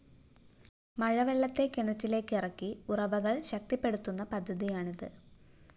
മഴവെള്ളത്തെ കിണറ്റിലേക്ക് ഇറക്കി ഉറവകള്‍ ശക്തിപ്പെടുത്തുന്ന പദ്ധതിയാണിത്